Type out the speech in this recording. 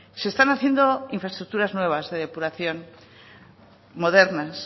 se están haciendo infraestructuras nuevas de depuración modernas